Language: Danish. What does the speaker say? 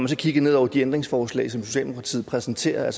så kigger ned over de ændringsforslag som socialdemokratiet præsenterer